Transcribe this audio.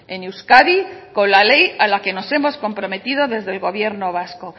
en euskadi con la ley a la que nos hemos comprometido desde el gobierno vasco